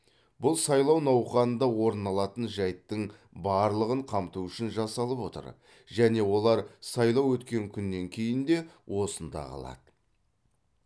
бұл сайлау науқанында орын алатын жайттың барлығын қамту үшін жасалып отыр және олар сайлау өткен күннен кейін де осында қалады